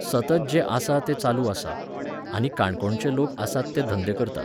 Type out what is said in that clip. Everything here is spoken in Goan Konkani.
सतत जें आसा तें चालू आसा. आनी काणकोणचे लोक आसात ते धंदे करतात.